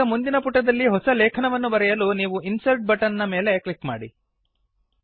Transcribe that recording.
ಈಗ ಮುಂದಿನ ಪುಟದಲ್ಲಿ ಹೊಸ ಲೇಖನವನ್ನು ಬರೆಯಲು ನೀವು ಇನ್ಸರ್ಟ್ ಬಟನ್ ನ ಮೇಲೆ ಕ್ಲಿಕ್ ಮಾಡಿ